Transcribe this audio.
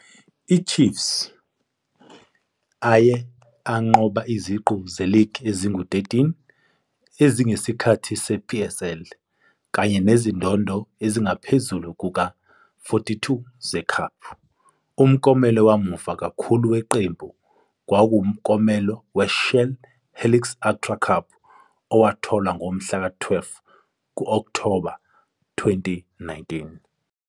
I-Chiefs aye anqoba iziqu ze-league ezingu-13, ezine ngesikhathi se-PSL, kanye nezindondo ezingaphezu kuka-42 ze-cup. Umklomelo wamuva kakhulu weqembu kwakuwumklomelo we-Shell Helix Ultra Cup owathola ngomhlaka12 ku-October 2019.